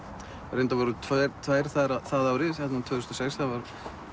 reyndar voru tvær það árið þarna tvö þúsund og sex þá